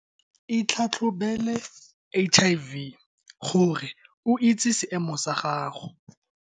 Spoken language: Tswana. Itlhatlhobele HIV gore o itse seemo sa gago.